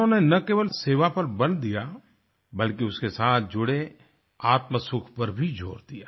उन्होंने ना केवल सेवा पर बल दिया बल्कि उसके साथ जुड़े आत्मसुख पर भी जोर दिया